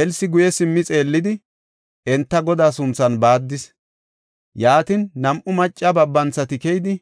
Elsi guye simmi xeellidi, enta Godaa sunthan baaddis. Yaatin, nam7u macca babanthati keyidi,